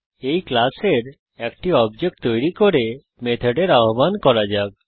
এই ক্লাসের একটি অবজেক্ট তৈরী করে মেথডের আহ্বান করা যাক